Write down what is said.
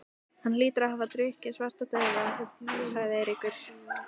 Hann hlýtur að hafa drukkið Svartadauða, sagði Eiríkur.